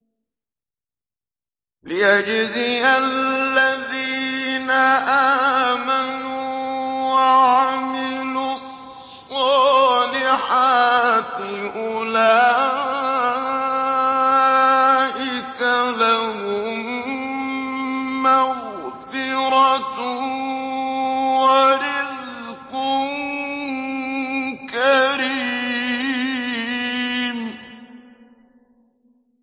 لِّيَجْزِيَ الَّذِينَ آمَنُوا وَعَمِلُوا الصَّالِحَاتِ ۚ أُولَٰئِكَ لَهُم مَّغْفِرَةٌ وَرِزْقٌ كَرِيمٌ